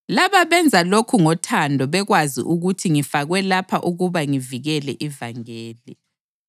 Laba benza lokhu ngothando bekwazi ukuthi ngifakwe lapha ukuba ngivikele ivangeli.